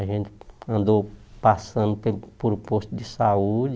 A gente andou passando pelo pelo posto de saúde.